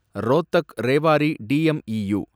Rohtak Rewari DEMU